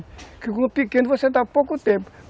Porque com o pequeno você dá pouco tempo.